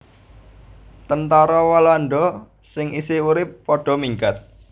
Tentara Walanda sing isih urip padha minggat